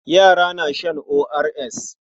Yara na shan ORS.